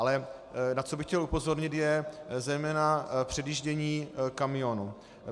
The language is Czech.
Ale na co bych chtěl upozornit, je zejména předjíždění kamionů.